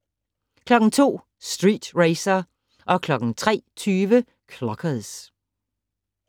02:00: Street Racer 03:20: Clockers